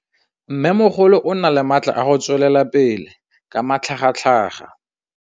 Mmêmogolo o na le matla a go tswelela pele ka matlhagatlhaga.